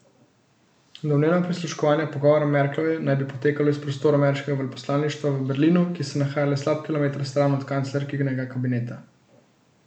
Domnevno prisluškovanje pogovorom Merklove naj bi potekalo iz prostorov ameriškega veleposlaništva v Berlinu, ki se nahaja le slab kilometer stran od kanclerkinega kabineta.